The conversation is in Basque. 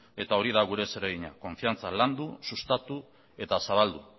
eta hori da gure zeregina konfidantza landu sustatu eta zabaldu